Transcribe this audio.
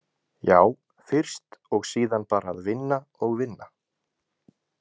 Já, fyrst og síðan bara að vinna og vinna.